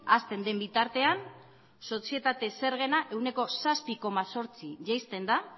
hazten den bitartean sozietate zergena ehuneko zazpi koma zortzi jaisten da